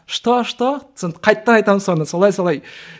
что что соны қайтадан айтамын соны солай солай